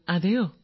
ങാ